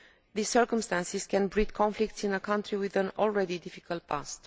These circumstances can breed conflicts in a country with an already difficult past.